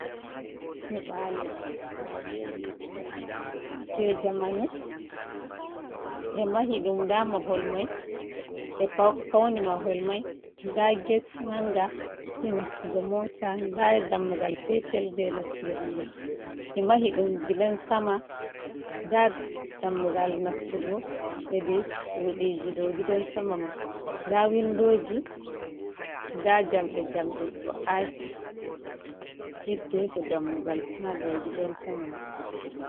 Nyiɓalo jei jamanu, be mahi ɗum nda mahol mai, ɓe fauni mahol mai, nda get manga jei nastugo mota, nda dammugal petel jei nastugo himɓe, ɓe mahi dum gidan sama, nda dammugal nastugo hedi suɗiji dou gidan sama mai, nda windoji, nda jamɗe-jamɗe ɗo ati hiddeko dammugal ha dou gidan sama mai.